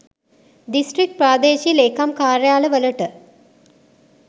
district ප්‍රාදේශීය ලේකම් කාර්යාල වලට